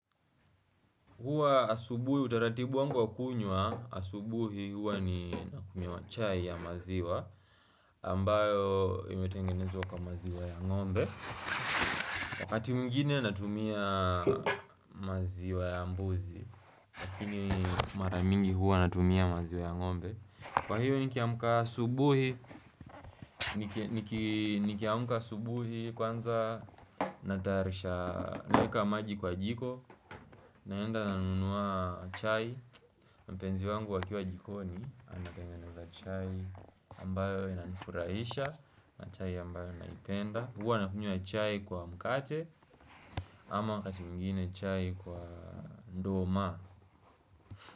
Huwa asubuhi, utaratibu wangu wa kunywa, asubuhi huwa ni nakunywa chai ya maziwa, ambayo imetengenezwa kwa maziwa ya ng'ombe. Wakati mwingine natumia maziwa ya mbuzi, lakini maramingi huwa natumia maziwa ya ng'ombe. Kwa hivyo nikiamka asubuhi, nikiamka asubuhi kwanza natayarisha naeka maji kwa jiko naenda nanunua chai, mpenzi wangu akiwa jikoni anatengeneza chai ambayo inanifurahisha na chai ambayo naipenda huwa nakunywa chai kwa mkate ama wakati mwingine chai kwa nduma.